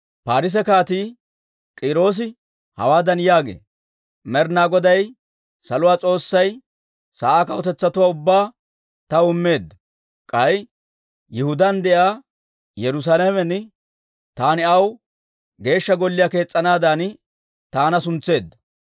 «Paarise Kaatii K'iiroosi hawaadan yaagee; ‹Med'ina Goday saluwaa S'oossay sa'aa kawutetsatuwaa ubbaa taw immeedda; k'ay Yihudaan de'iyaa Yerusaalamen taani aw Geeshsha Golliyaa kees's'anaadan taana suntseedda.